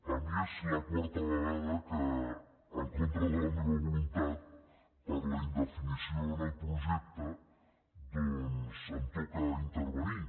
a mi és la quarta vegada que en contra de la meva voluntat per la indefinició en el projecte doncs em toca intervenir